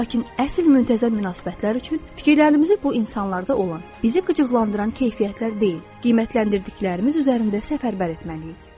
Lakin əsl müntəzəm münasibətlər üçün fikirlərimizi bu insanlarda olan, bizi qıcıqlandıran keyfiyyətlər deyil, qiymətləndirdiklərimiz üzərində səfərbər etməliyik.